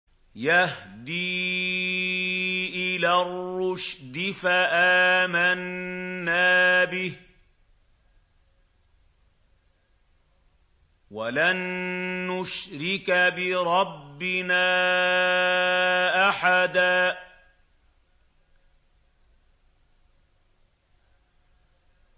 يَهْدِي إِلَى الرُّشْدِ فَآمَنَّا بِهِ ۖ وَلَن نُّشْرِكَ بِرَبِّنَا أَحَدًا